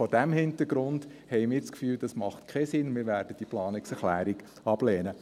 Vor diesem Hintergrund haben wir das Gefühl, das mache keinen Sinn: Wir werden diese Planungserklärung ablehnen.